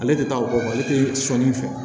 Ale tɛ taa o kɔ ale tɛ sɔnni fɛ